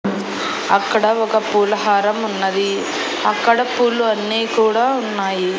అక్కడ ఒక పులహారం ఉన్నది అక్కడ పూలు అన్ని కూడా ఉన్నాయి.